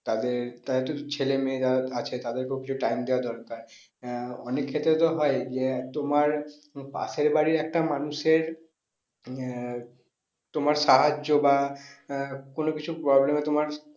তাদের, তাদের তো ছেলে মেয়েরা আছে তাদেরকেও কিছু time দেওয়া দরকার আহ অনেক ক্ষেত্রে তো হয় যে তোমার পাশের বাড়ির একটা মানুষের আহ তোমার সাহায্য বা আহ কোনো কিছু problem এ তোমার